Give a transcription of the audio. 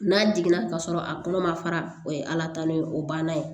N'a jiginna ka sɔrɔ a kɔnɔ ma fara o ye ala talo ye o banna ye